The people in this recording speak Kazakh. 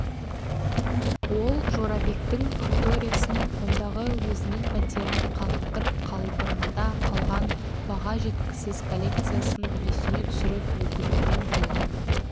ол жорабектің факториясын ондағы өзінің пәтерін қаңылтыр қалбырында қалған баға жеткісіз коллекциясын есіне түсіріп өкінумен болған